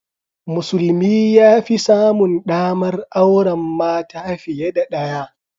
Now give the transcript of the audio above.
Musulmi ya fi samun ɗamar auren mata fiye da ɗaya.